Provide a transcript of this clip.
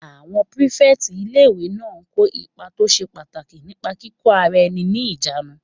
Àwọn pírífẹ̀tì ilé-ìwé náà kó ipa tó ṣe pàtàkì nípa kíkó ara ẹni ní ìjánu